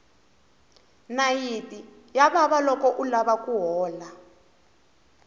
nayiti ya vava loko u lava ku hola